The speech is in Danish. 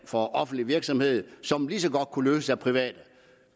for offentlig virksomhed som lige så godt kunne løses af private